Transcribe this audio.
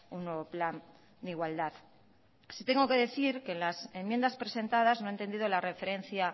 un nuevo plan de igualdad sí tengo que decir que en las enmiendas presentadas no he entendido la referencia